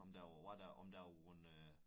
Om der var hvad der om der var gået øh